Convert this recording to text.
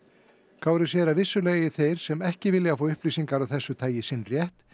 Kári segir að vissulega eigi þeir sem ekki vilja fá upplýsingar af þessu tagi sinn rétt